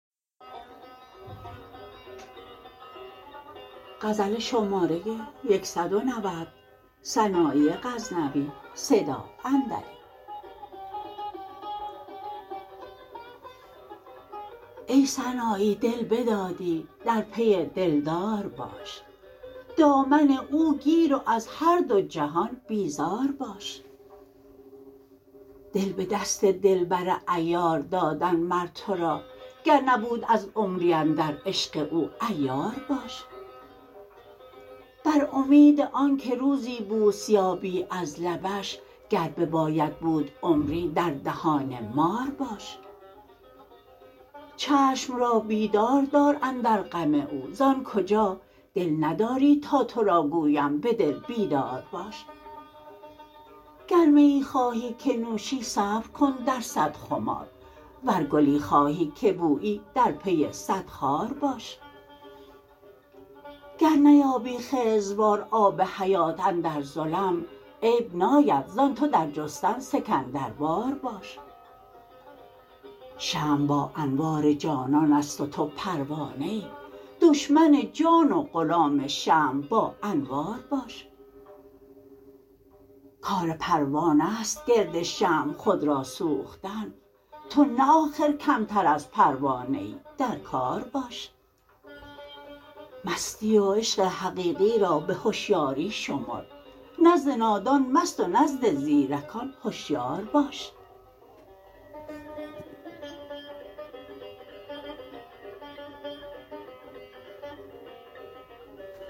ای سنایی دل بدادی در پی دلدار باش دامن او گیر و از هر دو جهان بیزار باش دل به دست دلبر عیار دادن مر تو را گر نبود از عمری اندر عشق او عیار باش بر امید آن که روزی بوس یابی از لبش گر بباید بود عمری در دهان مار باش چشم را بیدار دار اندر غم او زآن کجا دل نداری تا تو را گویم به دل بیدار باش گر میی خواهی که نوشی صبر کن در صد خمار ور گلی خواهی که بویی در پی صد خار باش گر نیابی خضروار آب حیات اندر ظلم عیب ناید زان تو در جستن سکندروار باش شمع با انوار جانان است و تو پروانه ای دشمن جان و غلام شمع با انوار باش کار پروانه ست گرد شمع خود را سوختن تو نه آخر کمتر از پروانه ای در کار باش مستی و عشق حقیقی را به هشیاری شمر نزد نادان مست و نزد زیرکان هشیار باش